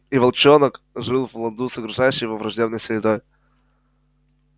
и волчонок жил в ладу с окружающей его враждебной средой